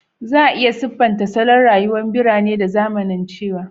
Za a iya siffanta salon rayuwar birane da zamanance